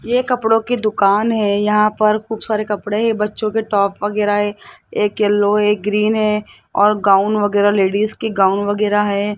यह कपड़ों की दुकान है यहां पर खूब सारे कपड़े है बच्चों के टॉप वगैरा है एक येलो एक ग्रीन है और गाउन वगैरा लेडिस की गाउन वगैरा है।